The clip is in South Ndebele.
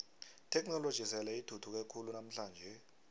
itheknoloji sele ithuthuke khulu namhlanje